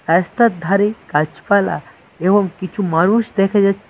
রাস্তার ধারে গাছপালা এবং কিছু মানুষ দেখা যাচ্ছে।